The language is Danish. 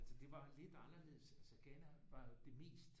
Altså det var lidt anderledes altså Ghana var det mest